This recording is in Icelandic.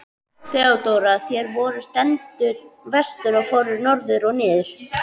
THEODÓRA: Þér voruð sendur vestur og fóruð norður og niður!